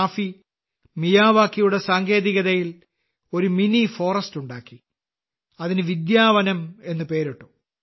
റാഫി മിയാവാക്കിയുടെ സാങ്കേതികതയിൽ ഒരു മിനി ഫോറസ്റ്റ് ഉണ്ടാക്കി അതിന് വിദ്യാവനം എന്ന് പേരിട്ടു